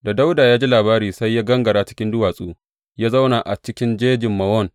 Da Dawuda ya ji labari, sai ya gangara cikin duwatsu ya zauna a cikin jejin Mawon.